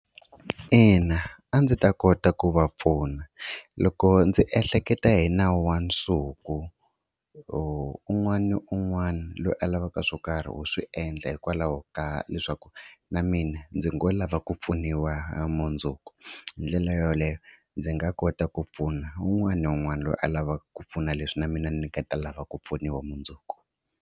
Ina, a ndzi ta kota ku va pfuna. Loko ndzi ehleketa hi nawu wa nsuku un'wana na un'wana loyi a lavaka swo karhi u swi endla hikwalaho ka leswaku na mina ndzi ngo lava ku pfuniwa hi ra mundzuku hi ndlela yoleyo ndzi nga kota ku pfuna un'wana na un'wana loyi a lavaka ku pfuna leswi na mina ni nga ta lava ku pfuniwa mundzuku.